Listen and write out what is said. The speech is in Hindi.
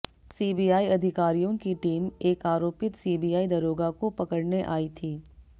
सीबीआई अधिकारियों की टीम एक आरोपित सीबीआई दरोगा को पकड़ने आई थी